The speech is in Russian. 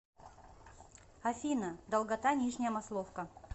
афина долгота нижняя масловка